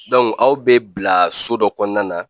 aw bɛ bila so dɔ kɔnɔna na